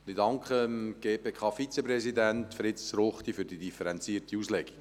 Ich danke dem GPKVizepräsidenten, Fritz Ruchti, für die differenzierte Auslegung.